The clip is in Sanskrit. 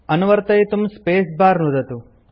अनुवर्तयितुं स्पेस् बर नुदतु